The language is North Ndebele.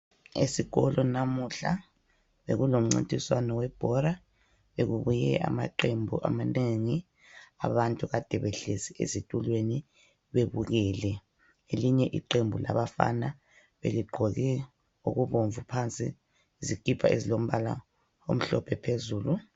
Esikolo lamuhla bekulomncintiswano webhora, bekubuye amaqembu amanengi. Abantu kade behlezi ezitulweni bebukele. Elinye iqembu labafana beligqoke okubomvu phansi, izikipa ezilombala omhlophe phezulu.